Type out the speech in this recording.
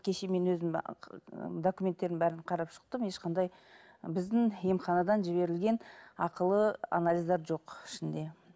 кеше мен өзім документтерін бәрін қарап шықтым ешқандай біздің емханадан жіберілген ақылы анализдер жоқ ішінде